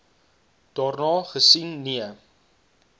daarna gesien nee